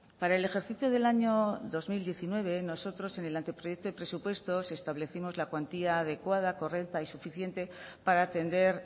para el ejercicio del año dos mil diecinueve nosotros en el anteproyecto de presupuestos establecimos la cuantía adecuada correcta y suficiente para atender